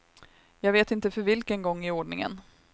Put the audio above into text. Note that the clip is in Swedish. Jag vet inte för vilken gång i ordningen.